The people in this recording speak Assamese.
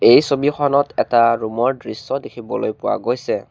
এই ছবিখনত এটা ৰুম ৰ দৃশ্য দেখিবলৈ পোৱা গৈছে।